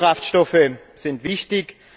Biokraftstoffe sind wichtig.